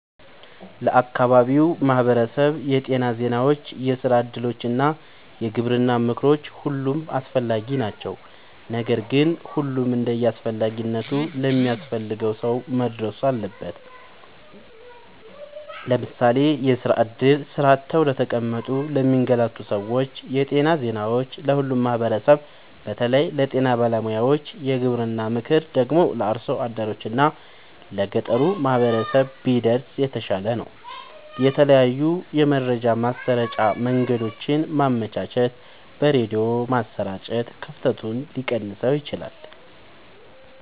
ለአካባቢው ማህበረሰብ የጤና ዜናዎች፣ የስራ እድሎች እና የግብርና ምክሮች ሁሉም አስፈላጊ ናቸው። ነገር ግን ሁሉም እንደየአስፈላጊነቱ ለሚያስፈልገው ሰው መድረስ አለበት። ለምሳሌ፦ የስራ እድል (ስራ አጥተው ለተቀመጡ ለሚንገላቱ ሰዎች) ,የጤና ዜናዎች(ለሁሉም ማህበረሰብ በተለይ ለጤና ባለሙያዎች) ,የግብርና ምክር ደግሞ(ለአርሶ አደሮች እና ለገጠሩ ማህበረሰብ) ቢደርስ የተሻለ ነው። የተለያዩ የመረጃ ማሰራጫ መንገዶችን ማመቻቸት(በሬድዮ ማሰራጨት) ክፍተቱን ሊቀንሰው ይችላል።